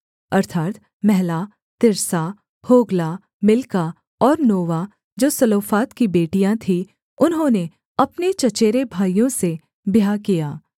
अर्थात् महला तिर्सा होग्ला मिल्का और नोवा जो सलोफाद की बेटियाँ थी उन्होंने अपने चचेरे भाइयों से ब्याह किया